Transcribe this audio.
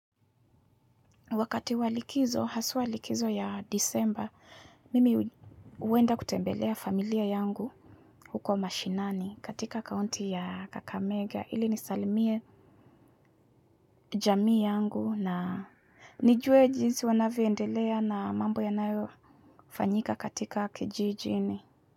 Wakati wa likizo, haswa likizo ya Disemba, mimi huenda kutembelea familia yangu huko mashinani katika kaunti ya Kakamega. Ili nisalimie jamii yangu na nijue jinsi wanavyoendelea na mambo yanayofanyika katika kijijini.